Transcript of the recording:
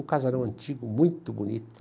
Um casarão antigo, muito bonito.